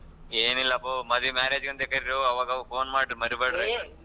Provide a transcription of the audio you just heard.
ಯೇನ್ ಇಲ್ಲಾಪ್ಪೋ ಮದ್ವೆ marriage ಒಂದಕ್ ಕರೀರೋ ಆವಾಗ್ ಆವಾಗ phone ಮಾಡ್ರಿ ಮರಿಬೇಡ್ರಿ.